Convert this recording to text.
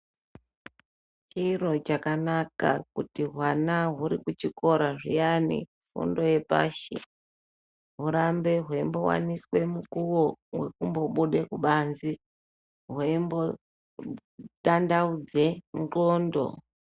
Chiro chakanaka kuti hwana huri kuchikora zviyani fundo yepashi hurambe hweimbiwaniswe mukuwo wekumbobude kubanze hweimbotandaudze ndxondo.